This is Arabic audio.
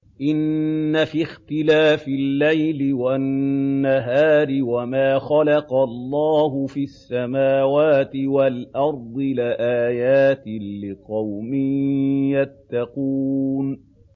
إِنَّ فِي اخْتِلَافِ اللَّيْلِ وَالنَّهَارِ وَمَا خَلَقَ اللَّهُ فِي السَّمَاوَاتِ وَالْأَرْضِ لَآيَاتٍ لِّقَوْمٍ يَتَّقُونَ